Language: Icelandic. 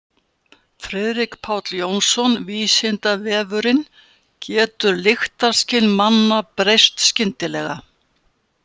Friðrik Páll Jónsson: Vísindavefurinn: Getur lyktarskyn manna breyst skyndilega?